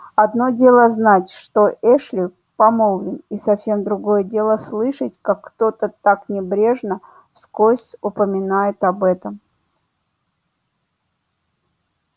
одно дело знать что эшли помолвлен и совсем другое дело слышать как кто-то так небрежно вскользь упоминает об этом